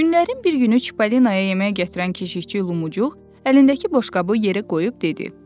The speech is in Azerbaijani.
Günlərin bir günü Çipollinoya yemək gətirən keşiyçi Lumucuq əlindəki boşqabı yeri qoyub dedi: